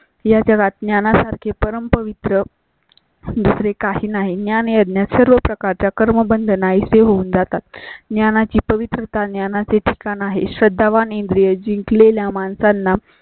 या जगात ज्ञाना सारखे परम पवित्र. दुसरे काही नाही. ज्ञान यज्ञा सर्व प्रकारच्या कर्मबंध नाही से होऊन जातात. ज्ञानाची पवित्रता ज्ञानाचे ठिकाण आहे. श्रद्धा वाण इंद्रियजिंकलेल्या माणसांना